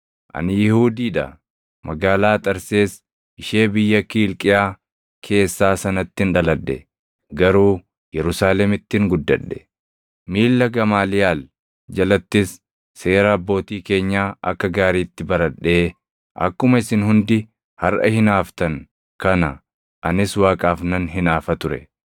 “Ani Yihuudii dha; magaalaa Xarsees ishee biyya Kiilqiyaa keessaa sanattin dhaladhe; garuu Yerusaalemittin guddadhe. Miilla Gamaaliyaal jalattis seera Abbootii keenyaa akka gaariitti baradhee, akkuma isin hundi harʼa hinaaftan kana anis Waaqaaf nan hinaafa ture.